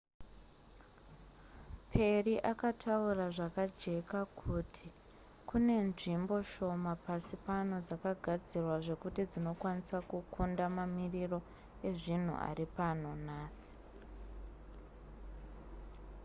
perry akataura zvakajeka kuti kune nzvimbo shoma pasi pano dzakagadzirwa zvekuti dzinokwanisa kukunda mamariro ezvinhu ari pano nhasi